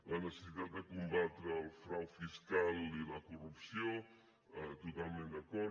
la necessitat de combatre el frau fiscal i la corrupció totalment d’acord